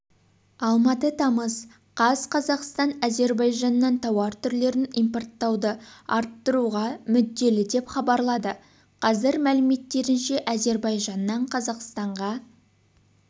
алматы тамыз қаз қазақстан әзербайжаннан тауар түрлерін импорттауды арттыруға мүдделі деп хабарлады қазір мәліметтерінше әзербайжаннан қазақстанға